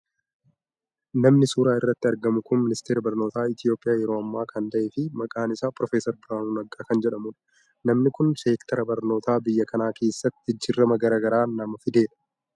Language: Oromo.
Namni suuraa irratti argamu kun ministeeraa barnoota Itoophiyaa yeroo ammaa kan ta'e fi maqaan isaa Proofeesar Biraanuu Nagaa kan jedhamudha. Namni kun seektara barnootaa biyya kanaa keessatti jijjiirama gara gara nama fidedha.